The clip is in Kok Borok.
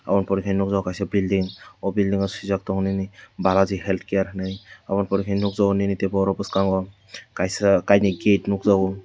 aboni pore khe nukjakgo kaisa building o building o suijak tongo nini balaji health care hinui oboni pore ke nukjakgo nini borok bwskango kainwi gate nukjakgo.